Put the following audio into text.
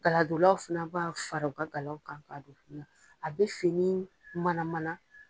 Galadolaw fana b'a fara u ka kalaw ka don fini na. A bɛ fini manamana.